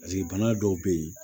paseke bana dɔw be yen